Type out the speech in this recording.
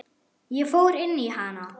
Ég fór inn í hana.